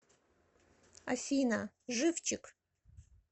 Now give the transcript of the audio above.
афина живчик